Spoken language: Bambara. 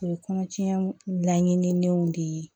O ye kɔnɔtiɲɛ laɲinilenw de ye